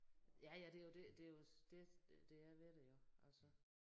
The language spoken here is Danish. Ja ja det jo det det jo det øh der er ved det jo altså